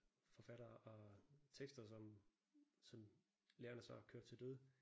Forfattere og tekster som som lærerne så kørte til døde